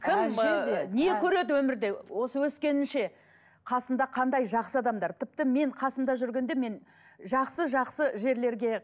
кім ыыы не көреді өмірде осы өскенінше қасында қандай жақсы адамдар тіпті мен қасында жүргенде мен жақсы жақсы жерлерге